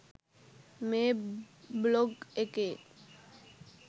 මේ බ්ලොග් එකේ